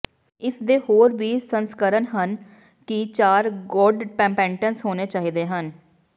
ਇਸਦੇ ਹੋਰ ਵੀ ਸੰਸਕਰਣ ਹਨ ਕਿ ਚਾਰ ਗੋਡਪੇਪੈਂਟਸ ਹੋਣੇ ਚਾਹੀਦੇ ਹਨ